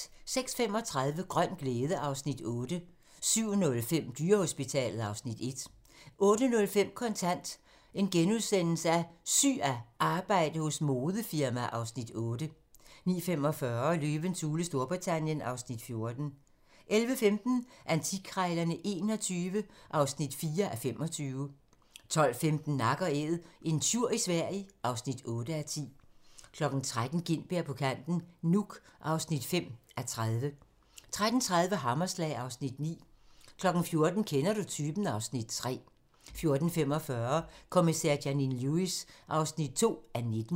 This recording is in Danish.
06:35: Grøn glæde (Afs. 8) 07:05: Dyrehospitalet (Afs. 1) 08:05: Kontant: Syg af arbejde hos modefirma (Afs. 8)* 09:45: Løvens hule Storbritannien (Afs. 14) 11:15: Antikkrejlerne XXI (4:25) 12:15: Nak & Æd - en tjur i Sverige (8:10) 13:00: Gintberg på kanten - Nuuk (5:30) 13:30: Hammerslag (Afs. 9) 14:00: Kender du typen? (Afs. 3) 14:45: Kommissær Janine Lewis (2:19)